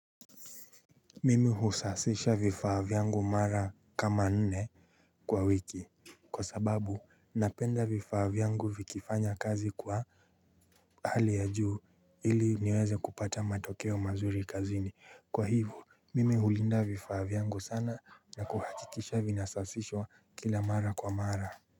Mimi husasisha vifaavyangu mara kama nne kwa wiki. Kwa sababu napenda vifaavyangu vikifanya kazi kwa hali ya juu ili niweze kupata matokeo mazuri kazini. Kwa hivyo mimi hulinda vifaavyangu sana na kuhakikisha vinasafishwa kila mara kwa mara.